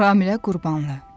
Ramilə Qurbanlı.